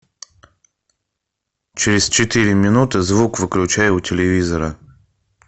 через четыре минуты звук выключай у телевизора